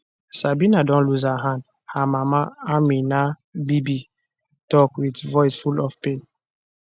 sabina don lose her hand her mama ameena bibi tok wit voice full of pain